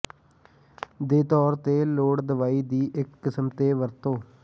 ਦੇ ਤੌਰ ਤੇ ਲੋੜ ਦਵਾਈ ਦੀ ਇੱਕ ਕਿਸਮ ਦੇ ਵਰਤੋ